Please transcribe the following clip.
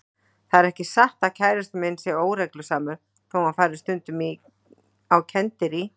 Það er ekki satt að kærastinn minn sé óreglusamur þó hann fari stundum á kenndirí.